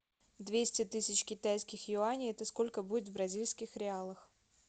двести тысяч китайских юаней это сколько будет в бразильских реалах